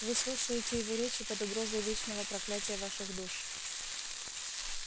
вы слушаете его речи под угрозой вечного проклятия ваших душ